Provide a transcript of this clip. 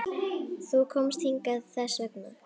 Þú komst hingað þess vegna.